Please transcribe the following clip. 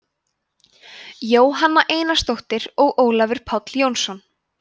jóhanna einarsdóttir og ólafur páll jónsson